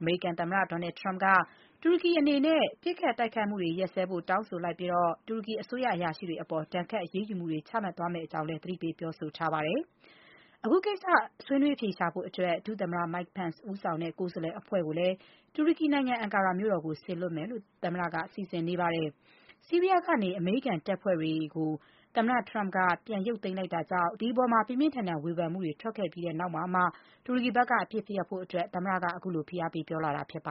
အမေရိကန်သမ္မတ Donald Trump က တူရကီ အနေနဲ့ ပစ်ခတ်တိုက်ခိုက်မှုတွေ ရပ်စဲဖို့ တောင်းဆိုလိုက်ပြီး တူရကီအစိုးရ အရာရှိတွေအပေါ် ဒဏ်ခတ် အရေးယူမှုတွေ ချမှတ်သွားမယ့် အကြောင်း သတိပေး ပြောဆိုထားပါတယ်။ အခုကိစ္စ ဆွေးနွေးအဖြေရှာဖို့အတွက် ဒုသမ္မတ Mike Pence ဦးဆောင်တဲ့ ကိုယ်စားလှယ်အဖွဲ့ကို တူရကီနိုင်ငံ Ankara မြို့တော်ကို စေလွှတ်ဖို့လည်း သမ္မတက စီစဉ်နေပါတယ်။ ဆီးရီးယားကနေ အမေရိကန်တပ်ဖွဲ့တွေ သမ္မတ Trump က ပြန်ရုပ်သိမ်းလိုက်တာကြောင့် ပြင်းပြင်းထန်ထန် ဝေဖန်မှုတွေ ထွက်ခဲ့ပြီးတဲ့နောက်မှာမှ တူရကီဘက်က အပစ်ရပ်ဖို့ သမ္မတက ခုလို ဖိအားပေးပြောလာတာဖြစ်ပါ